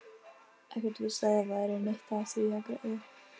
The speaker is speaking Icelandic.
Ekkert víst að það væri neitt á því að græða.